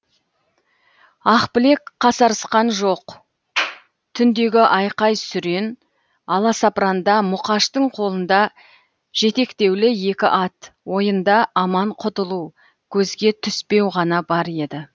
ақбілек қасарысқан жоқ түндегі айқай сүрен аласапыранда мұқаштың қолында жетектеулі екі ат ойында аман құтылу көзге түспеу ғана бар еді